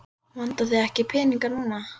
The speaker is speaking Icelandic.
Vantar þig ekki peninga núna?